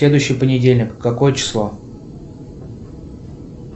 следующий понедельник какое число